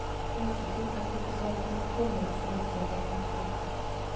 cells ichutak che tesatin koformeni cells chechang eng borta